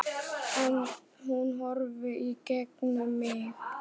En hún horfir í gegnum mig